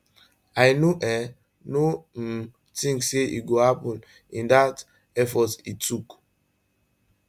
i no um no um tink say e go succeed in dat effort e tok